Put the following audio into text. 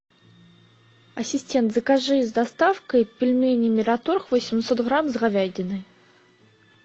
ассистент закажи с доставкой пельмени мираторг восемьсот грамм с говядиной